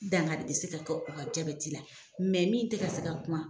N dan ka disi la koa ka jaabɛti la min tɛ ka se ka kuma.